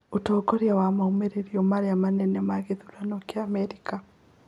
ũtongoria wa maũmĩrĩro marĩa manene ma gĩthurano kĩa Amerika